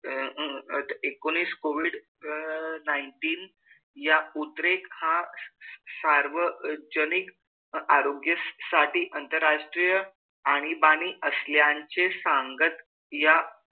अह आज एकोणीस कोविड अह nineteen या उद्रेक हा सार्वजनिक आरोग्यासाठी आंतरराष्ट्रीय आणीबाणी असल्याचे सांगत या,